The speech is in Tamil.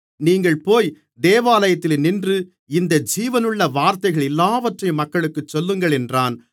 நீங்கள் போய் தேவாலயத்திலே நின்று இந்த ஜீவனுள்ள வார்த்தைகள் எல்லாவற்றையும் மக்களுக்குச் சொல்லுங்கள் என்றான்